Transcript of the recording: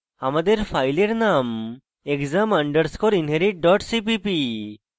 আমাদের file name exam underscore inherit dot cpp